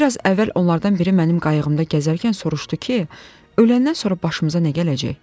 Bir az əvvəl onlardan biri mənim qayıqda gəzərkən soruşdu ki, öləndən sonra başımıza nə gələcək?